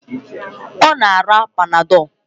Ọ na-ara Panadọlu